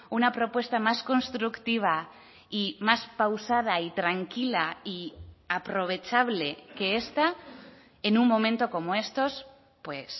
una propuesta más constructiva y más pausada y tranquila y aprovechable que esta en un momento como estos pues